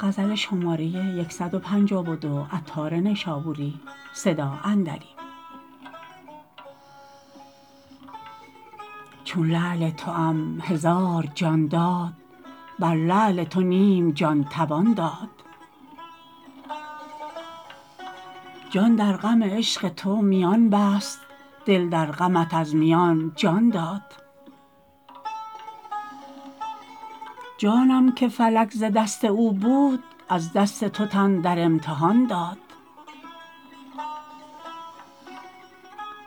چون لعل توام هزار جان داد بر لعل تو نیم جان توان داد جان در غم عشق تو میان بست دل در غمت از میان جان داد جانم که فلک ز دست او بود از دست تو تن در امتحان داد